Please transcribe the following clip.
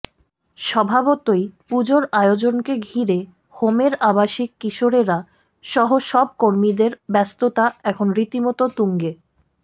স্বভাবতই পুজোর আয়োজনকে ঘিরে হোমের আবাসিক কিশোরেরা সহ সব কর্মীদের ব্যস্ততা এখন রীতিমত তুঙ্গে